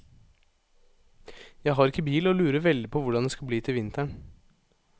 Jeg har ikke bil og lurer veldig på hvordan det skal bli til vinteren.